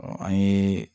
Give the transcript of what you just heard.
an ye